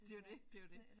Det er jo det det er jo det